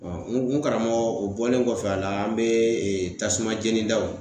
Ɔ n karamɔgɔ o bɔlen kɔfɛ a la an be ee tasuma jeni daw